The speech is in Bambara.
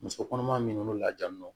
Muso kɔnɔma minnu lajalen don